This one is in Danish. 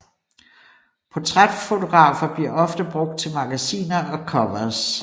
Portrætfotografer bliver ofte brugt til magasiner og covers